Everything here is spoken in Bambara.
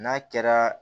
N'a kɛra